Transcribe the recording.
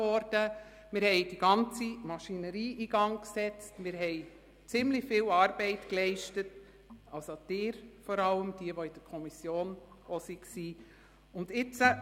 Wir haben die ganze Maschinerie in Gang gesetzt und ziemlich viel Arbeit geleistet, vor allem die Kommissionsmitglieder.